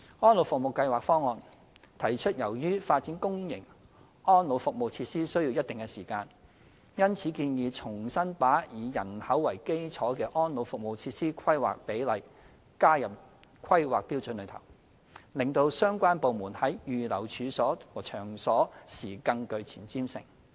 《安老服務計劃方案》提出，由於發展公營安老服務設施需要一定的時間，因此建議重新把以人口為基礎的安老服務設施規劃比率加入《規劃標準》內，令相關部門在預留處所和場所時更具前瞻性。